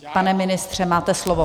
Pane ministře, máte slovo.